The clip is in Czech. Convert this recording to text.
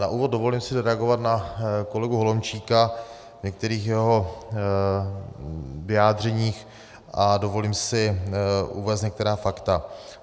Na úvod dovolím si reagovat na kolegu Holomčíka v některých jeho vyjádřeních a dovolím si uvést některá fakta.